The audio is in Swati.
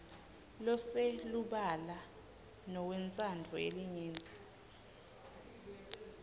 loselubala newentsandvo yelinyenti